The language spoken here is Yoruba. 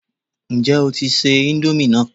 Ǹjẹ́ o tí ń se íńdómì náà?